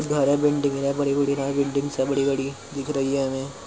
है बड़ी बड़ी बिल्डिंग्स है | बड़ी बड़ी दिख रही है हमें ।